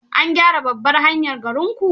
An gyara babbar hanyar garinku?